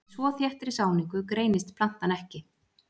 Í svo þéttri sáningu greinist plantan ekki.